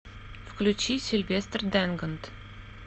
включи сильвестр дэнгонд